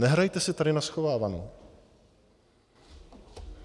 Nehrajte si tady na schovávanou.